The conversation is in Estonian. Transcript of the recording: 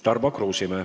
Tarmo Kruusimäe.